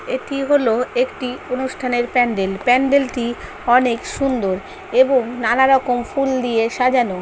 একি হলো একটি অনুষ্ঠানএর প্যান্ডেল প্যান্ডেলটি অনেক সুন্দর এবং নানারকম ফুল দিয়ে সাজানো ।